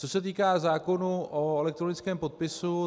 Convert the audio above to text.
Co se týče zákonu o elektronickém podpisu.